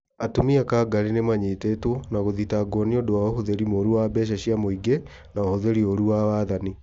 atumia kangarĩ nimanyitĩtwo na gũthitangwo nĩũndũ wa ũhũthĩri mũru wa mbeca cia mũingĩ na ũhũthĩri ũru wa wathani